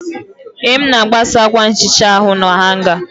Ee, m na-agbasa akwa nhicha ahụ na hanga.